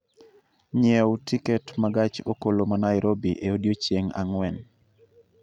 nyiew tiket ma gach okoloma Nairobi e odiechieng' ang'wen